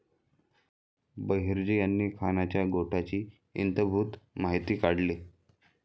बहिर्जी यांनी खानाच्या गोटाची इतंभूत माहिती काढली.